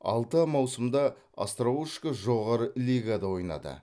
алты маусымда остроушко жоғары лигада ойнады